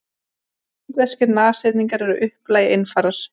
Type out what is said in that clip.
Indverskir nashyrningar eru að upplagi einfarar.